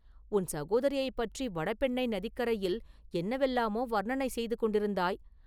உன் சகோதரியைப் பற்றி வடபெண்ணை நதிக்கரையில் என்னவெல்லாமோ வர்ணனை செய்து கொண்டிருந்தாய்!